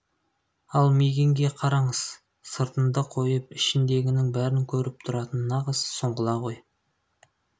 ал мигэнге қараңыз сыртыңды қойып ішіңдегінің бәрін көріп тұратын нағыз сұңғыла ғой